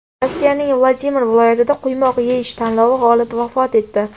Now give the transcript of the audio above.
Rossiyaning Vladimir viloyatida quymoq yeyish tanlovi g‘olibi vafot etdi.